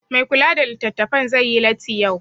Mai kula da litattafan zai yi latti yai